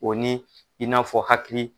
O ni i n'a fɔ hakili.